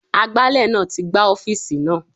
Agbálẹ̀ náà ti gbá ọ́fíìsì náà.